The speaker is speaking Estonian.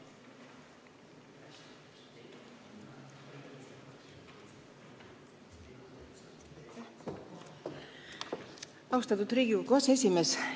Austatud Riigikogu aseesimees!